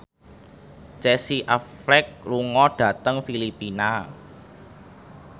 Casey Affleck lunga dhateng Filipina